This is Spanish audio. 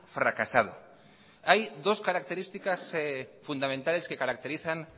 fracasado hay dos características fundamentales que caracterizan